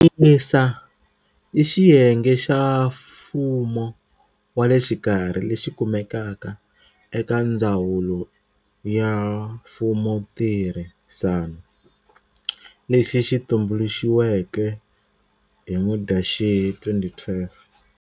MISA i xiyenge xa mfumo wa le xikarhi lexi kumekaka eka Ndzawulo ya Mfumontirhisano lexi xi tumbulixiweke hi Mudyaxihi 2012.